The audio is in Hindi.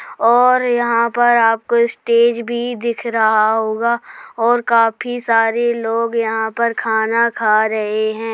और यहां पर आपको स्टेज भी दिख रहा होगा और काफी सारे लोग यहां पर खाना खा रहे हैं ।